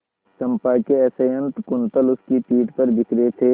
चंपा के असंयत कुंतल उसकी पीठ पर बिखरे थे